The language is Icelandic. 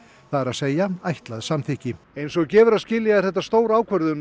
það er að segja ætlað samþykki eins og gefur að skilja er þetta stór ákvörðun